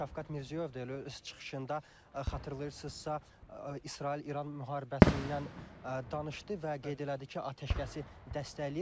Şavkat Mirziyoyev də elə öz çıxışında xatırlayırsınızsa, İsrail-İran müharibəsindən danışdı və qeyd elədi ki, atəşkəsi dəstəkləyir.